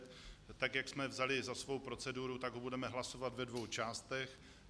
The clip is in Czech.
Tak jak jsme vzali za svou proceduru, tak ho budeme hlasovat ve dvou částech.